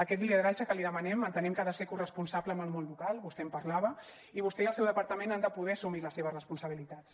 aquest lideratge que li demanem entenem que ha de ser corresponsable amb el món local vostè en parlava i vostè i el seu departament han de poder assumir les seves responsabilitats